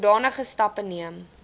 sodanige stappe neem